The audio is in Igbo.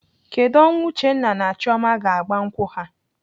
Kedụ ọnwa Uchenna na Chioma ga-agba nkwụ ha?